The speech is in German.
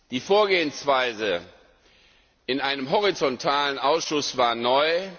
Die Vorgehensweise in einem horizontalen Ausschuss war neu.